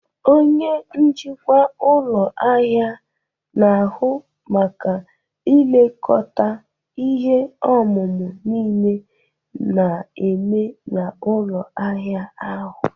Onye njikwa ụlọ ahịa na-ahụ maka ilekọta ihe omume niile na-eme na ụlọ ahịa ahụ.